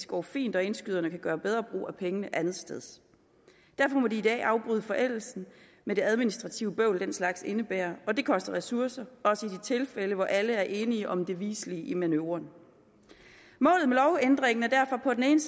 går fint og indskyderne kan gøre bedre brug af pengene andetsteds derfor må de i dag afbryde forældelsen med det administrative bøvl den slags indebærer og det koster ressourcer også i de tilfælde hvor alle er enige om det viselige i manøvren målet med lovændringen er derfor på den ene